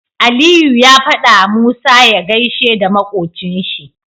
Aliyu ya fada wa musa ya gaishe da makocin shi